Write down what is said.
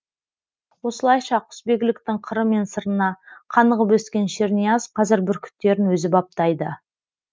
осылайша құсбегіліктің қыры мен сырына қанығып өскен шернияз қазір бүркіттерін өзі баптайды